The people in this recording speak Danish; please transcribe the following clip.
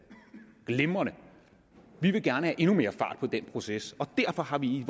glimrende vi vil gerne have endnu mere fart på den proces og derfor har vi i